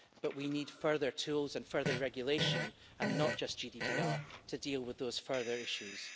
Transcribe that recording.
But we need further tools and further regulation, and not just GDPR to deal with those further issues.